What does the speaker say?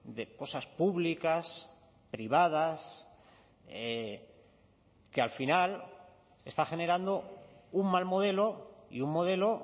de cosas públicas privadas que al final está generando un mal modelo y un modelo